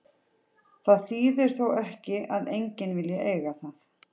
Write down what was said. Það þýðir þó ekki að enginn vilji eiga það.